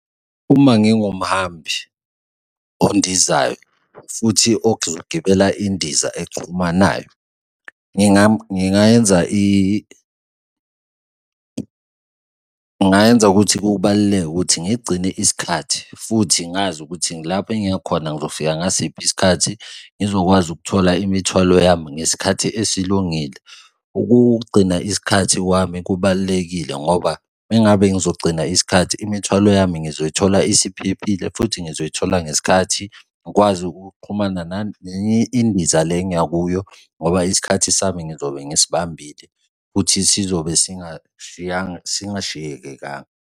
Uma ngingumhambi ondizayo futhi ozogibela indiza exhumanayo, ngingayenza, ngingayenza ukuthi kubaluleke ukuthi ngigcine isikhathi futhi ngazi ukuthi ngilapho engiya khona ngizofika ngasiphi isikhathi? Izokwazi ukuthola imithwalo yami ngesikhathi esilungile. Ukugcina isikhathi kwami kubalulekile ngoba uma ngabe ngizogcina isikhathi imithwalo yami ngizoyithola esiphephile futhi ngizoyithola ngesikhathi ngikwazi ukuxhumana nenye indiza le engiya kuyo ngoba isikhathi sami ngizobe ngisibambile futhi sizobe singashiyekekanga.